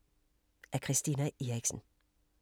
Af Christina Eriksen